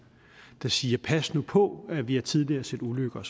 og siger pas nu på vi har tidligere set ulykker